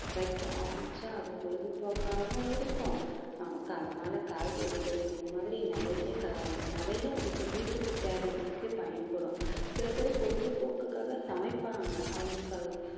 வைக்க ஆரம்பிச்சா அது பொழுதுபோக்காகவும் இருக்கும் நமக்கு அதனால காய்கறிகள் இந்த மாதிரி நிறைய க~ நிறைய நமக்கு வீட்டுக்கு தேவைகளுக்கே பயன்படும் சில பேர் பொழுதுபோக்குக்காக சமைப்பாங்க அவங்களுக்கு